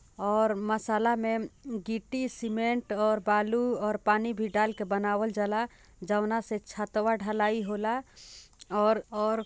और मसाला मे गिट्टी सीमेंट और बालू और पानी भी डाल के बनवाल जाला जौना से छतवा ढलाई होला और --